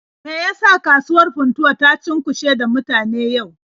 Me ya sa kasuwar Funtuwa ta cunkushe da mutane yau?